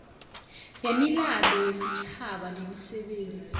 wemilando yesitjhaba nemisebenzi